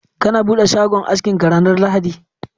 kana bude shagon askin ka ranar lahadi?.